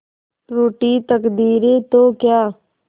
रूठी तकदीरें तो क्या